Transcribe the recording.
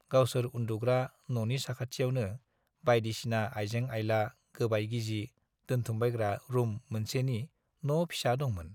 गावसोर उन्दुग्रा न'नि साखाथियावनो बाइदिसिना आइजें-आइला, गोबाय गिजि दोनथुमबायग्रा रुम मोनसेनि न' फिसा दंमोन।